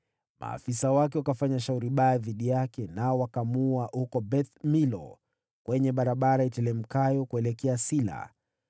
Maafisa wake wakafanya shauri baya dhidi yake, nao wakamuulia Yoashi huko Beth-Milo, kwenye barabara iteremkayo kuelekea Sila.